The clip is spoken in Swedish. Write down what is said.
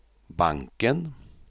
banken